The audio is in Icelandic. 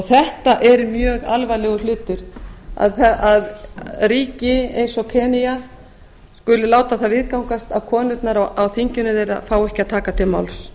þetta er mjög alvarlegur hlutur að ríki eins og enga skuli láti það viðgangast að konurnar á þinginu þeirra fái ekki að taka til máls